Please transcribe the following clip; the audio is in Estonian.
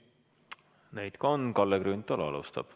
Neid ka on, Kalle Grünthal alustab.